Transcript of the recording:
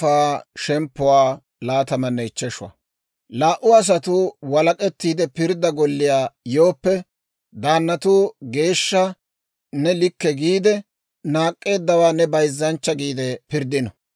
«Laa"u asatuu walak'ettiide pirddaa golliyaa yooppe, daannatuu geeshsha ne likke giide, naak'k'eeddawaa ne bayzzanchcha giide pirddino.